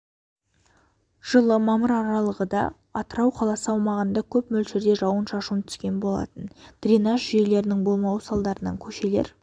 жылы мамыр аралығыда атырау қаласы аумағында көп мөлшерде жауын-шашын түскен болатын дренаж жүйелерінің болмауы салдарынан көшелер